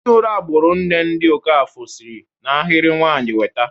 Ezinụlọ agburu nne, ndị Okafor, si n'ahịrị nwanyị nweta.